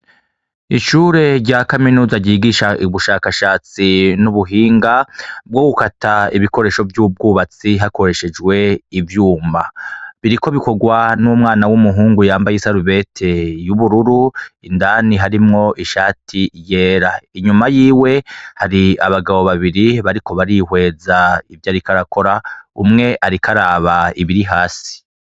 Ishure rya kaminuza ryigisha ubushakashatsi n'ubuhinga bwo gukata ibikoresho vy'ubwubatsi hakoreshejwe ivyuma, biriko bikorwa n'umwana w'umuhungu yambaye isarubete y'ubururu indani harimwo ishati yera, inyuma yiwe hari abagabo babiri bariko barihweza ivyo ariko arakora, umwe ariko araba ibiri hasi.